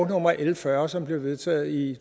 nummer l fyrre som blev vedtaget i